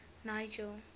nigel